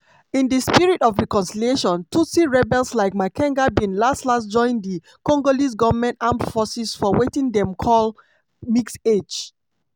in di spirit of reconciliation tutsi rebels like makenga bin las-las join di congolese goment armed forces for wetin dem call "mixage".